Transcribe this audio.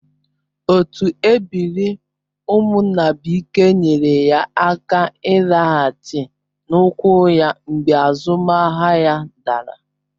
Otu ebiri Umunnabuike nyeere ya aka ịlaghachi n'ụkwụ ya mgbe azụmahịa ya dara